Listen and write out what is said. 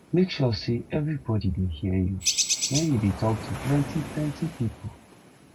make sure sey everybody dey hear you wen you dey tok to plenty plenty pipo